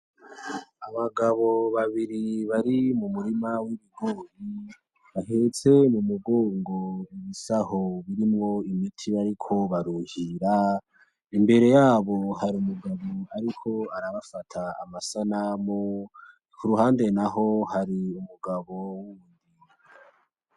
Abagabo babiri bari mumurima w'ibigori bahetse mumugongo udusaho turimwo imiti bariko baruhira, imbere yabo hari umuntu ariko arabafata amasanamu kuruhande naho hari umugabo.